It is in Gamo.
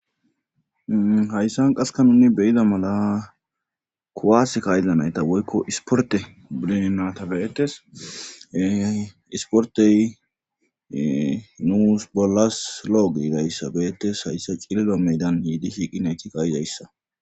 Hayssan qaseka nuni beyida mala kuwaas kayizanayta woykko isporte bidenata beetes isportey nuus bollas loogiidayssabeetes hayssa cililo meydan hiidi shiiqinayti kayidayssa